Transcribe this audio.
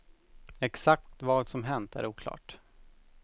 Exakt vad som hänt är oklart.